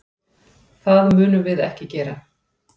Það munum við ekki gera.